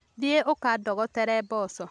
Thiĩ ũkandogotere mboco